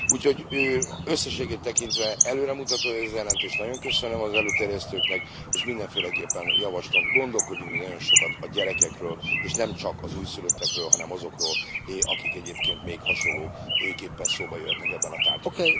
Úgyhogy összességét tekintve előremutató ez a jelentés, nagyon köszönöm az előterjesztőknek, és mindenféleképpen javaslom, gondolkodjunk még nagyon sokat a gyerekekről, és nem csak az újszülöttekről, hanem azokról, akik egyébként még hasonlóképpen szóba jöhetnek ebben a tárgyban.